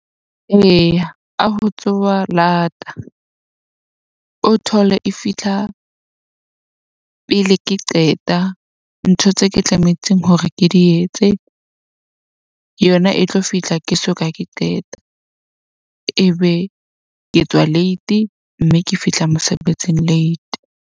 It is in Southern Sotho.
Eya, ka ho tsoha lata o thole e fihla pele ke qeta ntho tse ke tlametseng hore ke di etse. Yona e tlo fihla ke soka ke qeta. Ebe ke tswa late mme ke fihla mosebetsing late.